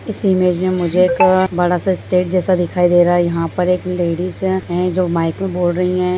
इस इमेज में मुझे एक बड़ा सा स्टेज जैसा दिखाई दे रहा है यहाँ पर एक लेडीज है जो माइक में बोल रही है।